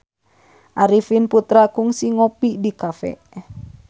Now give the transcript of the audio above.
Arifin Putra kungsi ngopi di cafe